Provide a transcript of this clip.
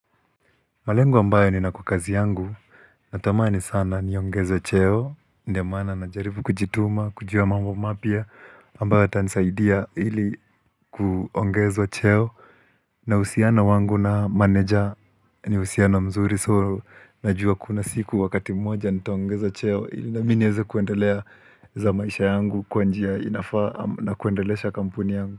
Malengu ambayo nina kwa kazi yangu Natamani sana niongezo cheo ndio maana najaribu kujituma, kujua mambo mapia ambayo yatanisaidia hili kuongezwa cheo mahusiano wangu na manager ni uhusiano mzuri So najua kuna siku wakati mmoja nitaongezwa cheo Hili na mi nieze kuendelea za maisha yangu kwa njia inafaa na kuendeleesha kampuni yangu.